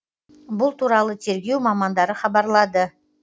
бұл туралы тергеу мамандары хабарлады